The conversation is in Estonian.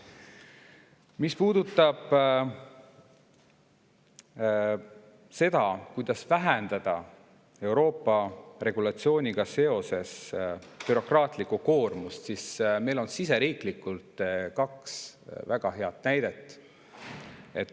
Mis puudutab seda, kuidas vähendada Euroopa regulatsioonidega seoses bürokraatlikku koormust, siis on meil siseriiklikult kaks väga head näidet.